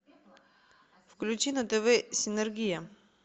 включи на тв синергия